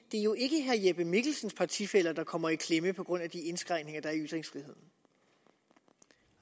det er jo ikke herre jeppe mikkelsen og partifæller der kommer i klemme på grund af de indskrænkninger der er i ytringsfriheden